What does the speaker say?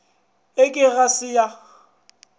e ke ga se ya